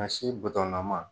A sen butɔnnama.